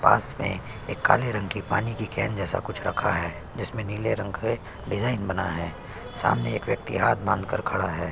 पास में एक काले रंग की पानी की कैन जैसा कुछ रखा है जिसमे नीले रंग के डिज़ाइन बना है सामने एक व्यक्ति हाथ बांधकर खड़ा है।